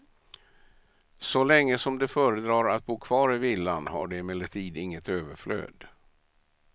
Så länge som de föredrar att bo kvar i villan har de emellertid inget överflöd.